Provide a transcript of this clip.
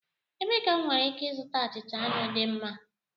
Ebee ka m nwere ike ịzụta achịcha anụ dị mma?